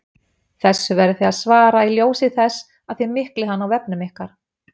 Þessu verðið þið að svara í ljósi þess að þið miklið hann á vefnum ykkar!